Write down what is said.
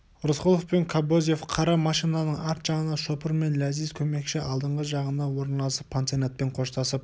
рысқұлов пен кобозев қара машинаның арт жағына шопыр мен ләзиз көмекші алдыңғы жағына орналасып пансионатпен қоштасып